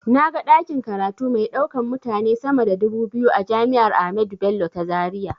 Na ga ɗakin karatu mai ɗaukan mutane sama da dubu biyu a jami'ar ahmadu bello ta zaria.